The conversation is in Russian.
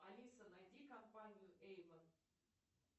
алиса найди компанию эйвон